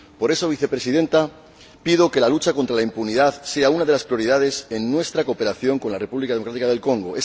Por ello, señora Vicepresidenta, pido que la lucha contra la impunidad sea una de las prioridades en nuestra cooperación con la República Democrática del Congo.